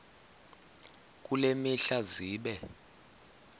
kule mihla zibe